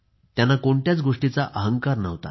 त्यांना कोणत्याच गोष्टीचा अहंकार नव्हता